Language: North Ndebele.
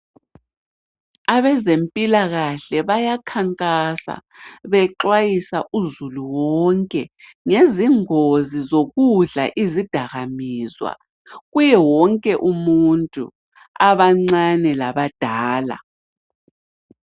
Abezempilakahle bayakhankasa bexwayisa uzulu wonke ngezingozi zokudla izadakamizwa, kuye wonke umuntu, abancane labadala.